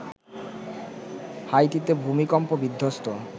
হাইতিতে ভূমিকম্প বিধ্বস্ত